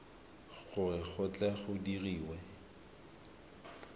gore go tle go dirwe